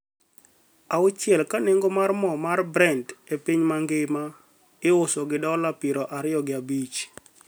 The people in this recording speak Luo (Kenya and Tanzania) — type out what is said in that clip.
auchiel, ka nengo mar mo mar Brent e piny mangima, iuso gi dola piero ariyo gi abich.